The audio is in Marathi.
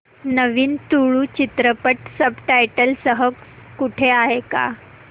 नवीन तुळू चित्रपट सब टायटल्स सह कुठे आहे का